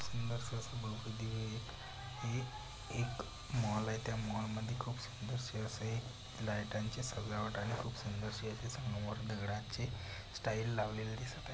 सुंदरस अस दिवे आहेत. हे एक मॉल आहे. त्या मॉल मध्ये खूप सुंदरस असे लाईटाचे चे सजावट आहे. खूप सुंदरशी अशी संगमवर दगडाची स्टाइल लावलेली दिसत--